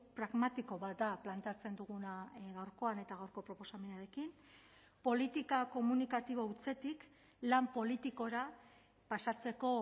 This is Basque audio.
pragmatiko bat da planteatzen duguna gaurkoan eta gaurko proposamenarekin politika komunikatibo hutsetik lan politikora pasatzeko